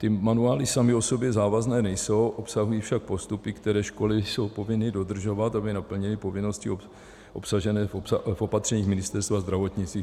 Ty manuály samy o sobě závazné nejsou, obsahují však postupy, které školy jsou povinny dodržovat, aby naplnily povinnosti obsažené v opatřeních Ministerstva zdravotnictví.